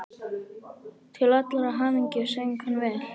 Til allrar hamingju söng hann vel!